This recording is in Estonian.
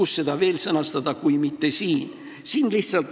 Kus seda veel sõnastada kui mitte siin?